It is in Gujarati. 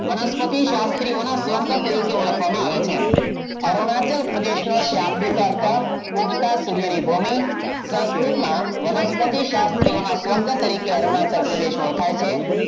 વનસ્પતિ શાસ્ત્રી ઓન સ્વર્ગ તરીકે ઓળખવામાં આવે છે અરુણાચલ પ્રદેશનો શાબ્દિક અર્થ ઉગતા સૂર્યની ભૂમિ સંસ્કૃતમાં વનસ્પતિ શાસ્ત્રી ઓન સ્વર્ગ તરીકે અરુણાચલ પ્રદેશ ઓળખાય છે